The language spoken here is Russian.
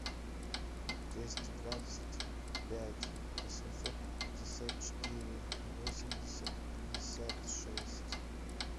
двести двадцать пять восемьсот пятьдесят четыре восемьдесят пятьдесят шесть